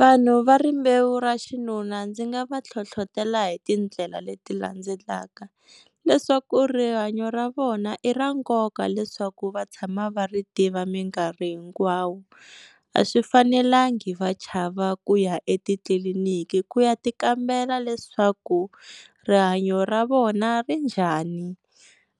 Vanhu va rimbewu ra xinuna ndzi nga va hlohlotela hi tindlela leti landzelaka, leswaku rihanyo ra vona i ra nkoka leswaku va tshama va ri tiva minkarhi hinkwawo, a swi fanelangi va chava ku ya etitliliniki ku ya ti kambela leswaku rihanyo ra vona ri njhani,